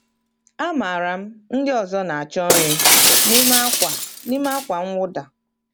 Amaara m ndị ọzọ na-achọ nri n’ime ákwà n’ime ákwà mwụda.